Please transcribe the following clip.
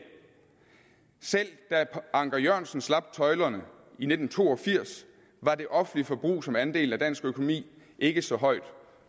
selv da anker jørgensen slap tøjlerne i nitten to og firs var det offentlige forbrug som andel af dansk økonomi ikke så højt